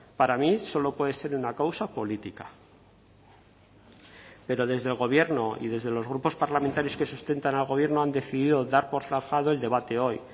para mí solo puede ser una causa política pero desde el gobierno y desde los grupos parlamentarios que sustentan al gobierno han decidido dar por zanjado el debate hoy